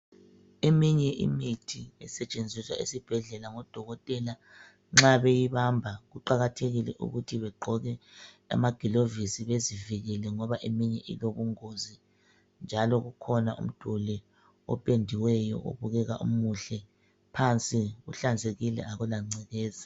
Eminye imithi esetshenziswa esibhedlela ngodokotela, nxa beyibamba kuqakathekile ukuthi begqoke amagilovisi bezivikele ngoba eminye ilobungozi. Njalo kukhona umduli opendiweyo obukeka umuhle. Phansi kuhlanzekile akula ngcekeza.